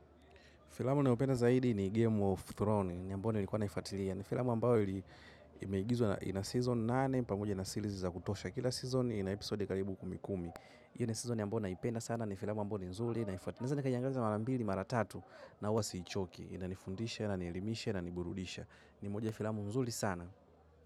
Filamu ninayopenda zaidi ni Game of Thrones, ni ambayo nilikuwa naifuatilia. Ni filamu ambayo imeigizwa ina season nane, pamoja na series za kutosha kila season ina episode karibu kumi kumi. Hiyo ni season ambayo ninaipenda sana, ni filamu ambayo ni nzuri, naifuatilia. Naweza nikaiangalia mara mbili, mara tatu, na huwa siichoki, inanifundisha, inanielimisha, inaniburudisha. Ni moja ya filamu nzuri sana.